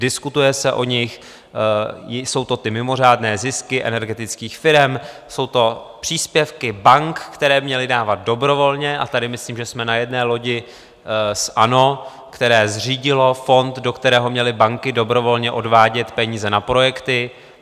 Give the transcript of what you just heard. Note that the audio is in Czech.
Diskutuje se o nich, jsou to ty mimořádné zisky energetických firem, jsou to příspěvky bank, které měly dávat dobrovolně, a tady myslím, že jsme na jedné lodi s ANO, které zřídilo fond, do kterého měly banky dobrovolně odvádět peníze na projekty.